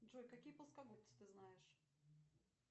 джой какие плоскогубцы ты знаешь